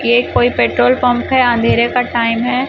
ये कोई petrol pump है अंधेरे का टाइम है।